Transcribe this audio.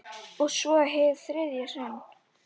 Og svo- hið þriðja sinn.